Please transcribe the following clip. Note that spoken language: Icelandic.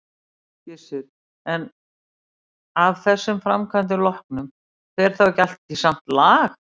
Gissur: En af þessum framkvæmdum loknum, fer þá ekki allt í samt lag?